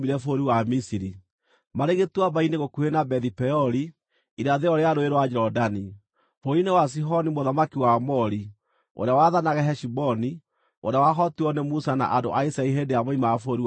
na maarĩ gĩtuamba-inĩ gũkuhĩ na Bethi-Peori, irathĩro rĩa Rũũĩ rwa Jorodani, bũrũri-inĩ wa Sihoni mũthamaki wa Aamori, ũrĩa waathanaga Heshiboni, nĩwe wahootirwo nĩ Musa na andũ a Isiraeli hĩndĩ ĩrĩa moimaga bũrũri wa Misiri.